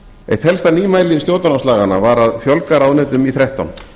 eitt helsta nýmæli stjórnarráðslaganna var að fjölga ráðuneytum í þrettán